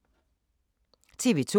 TV 2